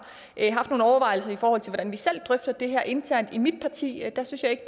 haft nogle overvejelser i forhold til hvordan vi selv drøfter det her internt i mit parti der synes jeg ikke